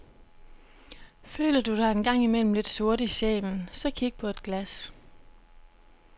Føler du dig engang imellem lidt sort i sjælen, så kig på et glas.